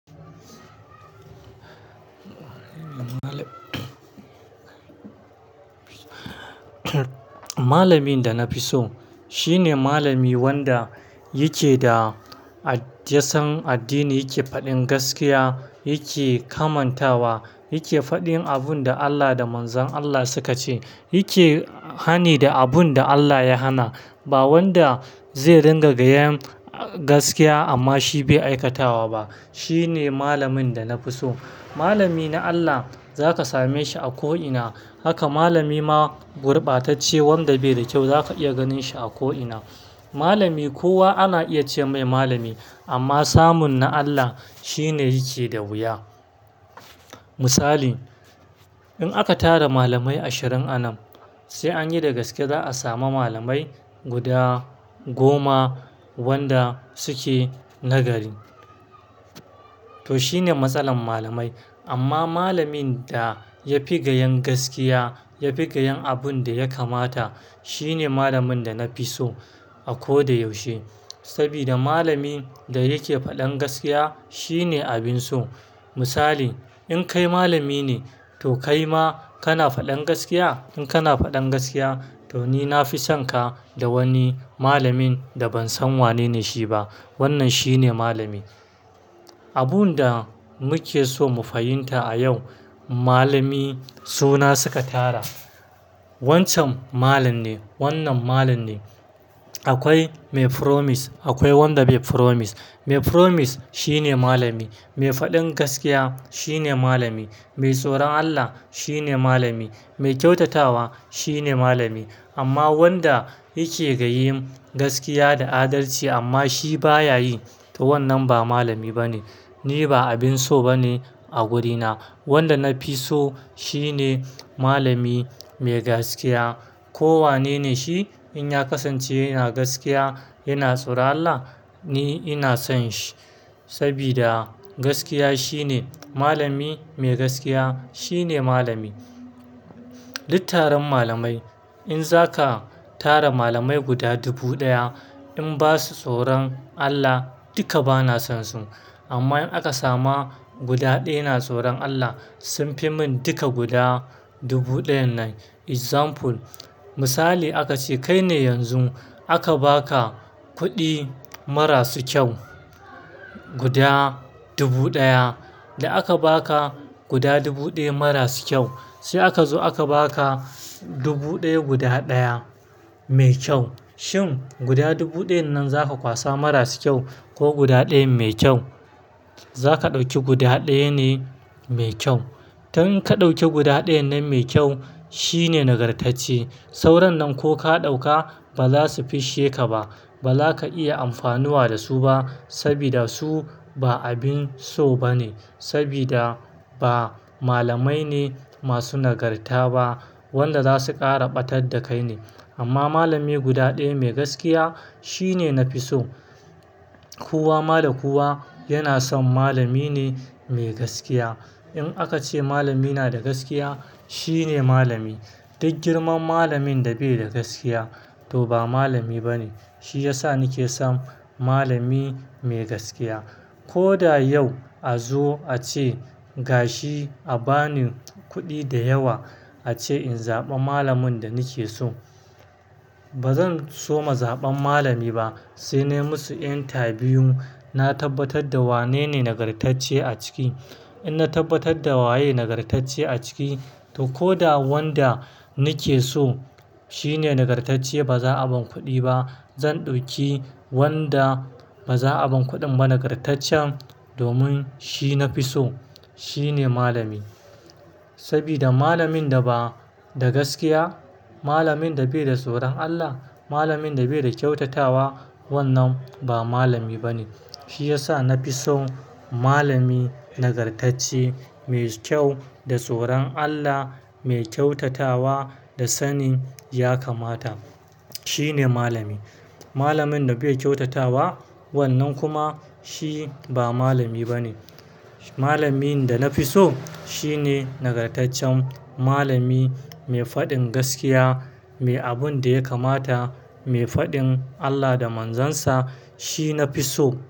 Malamin da na fi so shine malami wanda yake da a yasan addini yake faɗin gaskiya, yake kamantawa, yake faɗin abun da Allah da manzon Allah suka ce. Yake, ah, hani da abun da Allah ya hana. Ba wanda zai ringa gayan, ah, gaskiya amma shi bai aikatawa ba. Shi ne malamin da na fi so. Malami na Allah za ka same shi a ko ina. Haka malami ma gurbatacce wanga bai da kyau za ka iya ganin shi a ko'ina. Malami kowa ana iya ce mai malami amma samun na Allah shine yake da wuya. Misali in aka tara malamai ashirin anan sai an yi da gaske za a sami malamai guda goma wanda suke nagari. To shine matsalar malamai. Amma malamin da ya fi gayen gaskiya, ya fi gayen abun da ya kamata shine malamin da na fi so a ko da yaushe. Sabida malamin da yake faɗin gaskiya shine abin so. Misali in kai malami ne to kai ma kana faɗin gaskiya? In kana faɗan gaskiya to ni na fi son ka da wani malamin da ban san wanene shi ba. Wannan shine malami. Abun da muke so mu fahimta a yau, malami suna suka tara. Wancan malam ne, wannan malam ne. Akwai mai promise, akwai wanda bai promise. Mai promise shine malami. Mai faɗin gaskiya shine malami. Mai tsoron Allah shine malami. Mai kyautatawa shine malami. Amma wanda yake gayin gaskiya da adalci amma shi ba ya yi, to wannan ba malami ba ne. Ni ba abin so ba ne a wurina. Wanda na fi so shi ne malami mai gaskiya. Kowa ne ne shi in ya kasance yana gaskiya, yana tsoran Allah ni ina son shi. Sabida gaskiya shine. Malami mai gaskiya shine malami. Duk taron malamai. In za ka tara malamai guda dubu ɗaya in ba su tsoron Allah duka ba na son su. Duk taron malamai. In za ka tara malamai guda dubu ɗaya in ba su tsoron Allah duka ba na son su. Guda dubu ɗaya da aka ba ka guda dubu ɗaya marasu kyau. Sai aka zo aka ba ka dubu ɗaya guda ɗaya mai kyau. Shin guda dubu ɗayan nan za ka kwasa marasu kyau ko guda ɗaya mai kyau? Za ka ɗauki guda ɗaya ne mai kyau. Tun ka ɗauki guda ɗaya nan mai kyau shine nagartacce. Sauran nan ko ka ɗauka ba za su fisshe ka ba. Ba za ka iya amfanuwa da su ba sabida su ba abin so ba ne. Sabida ba malamai ne masu nagarta ba wanda za su ƙara ɓatar da kai ne. Amma malami guda ɗaya mai gaskiya shine na fi so. Kowa, mada kowa yana son malami ne mai gaskiya. In aka ce malami yana da gaskiya shine malami. Duk girman malamin da bai da gaskiya to ba malami ba ne. Shi ya sa ni ke son malami mai gaskiya. Ko da yau a zo a ce gashi a ba ni kuɗi da yawa a ce in zaɓa malamin da ni ke so. Ba zan soma zaɓan malami ba. Sai nai musu interview na tabbatar da wanene nagartacce a ciki. In na tabbatar da waye nagartacce a ciki to ko da wanda ni ke so shine nagartacce ba za a ban kuɗi ba. Zan ɗauki wanda ba za a bani kuɗin ba nagartaccen domin shi na fi so. Shi ne malami. Sabida malamin da ba da gaskiya, malamin da bai da tsoron Allah, malamin da bai da kyautatawa wannan ba malami ba ne. Shi ya sa na fi son malami nagartacce, mai kyau, da tsoron Allah, mai kyautatawa da sanin ya kamata. Shi ne malami. Malamin da bai kyautatawa wannan kuma shi ba malami ba ne. Malamin da na fi so shine nagartaccen malami mai faɗin gaskiya, mai abun da ya kamata, mai faɗin Allah da manzon sa shi na fi so.